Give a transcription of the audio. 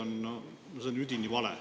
No see on üdini vale.